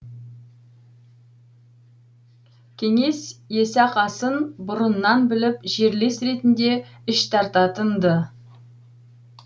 кеңес есақасын бұрыннан біліп жерлес ретінде іштартатын ды